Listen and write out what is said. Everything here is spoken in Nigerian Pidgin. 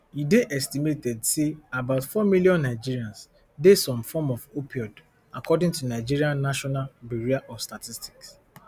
e dey estimated say about four million nigerians dey some form of opioid according to nigeria national bureau of statistics